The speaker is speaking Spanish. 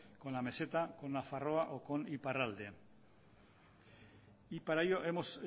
con la meseta con nafarroa o con iparralde y para ello hemos